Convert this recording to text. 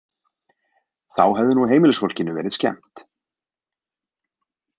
Þá hefði nú heimilisfólkinu verið skemmt.